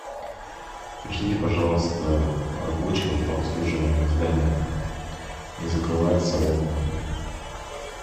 пришлите пожалуйста рабочего по обслуживанию здания не закрываются окна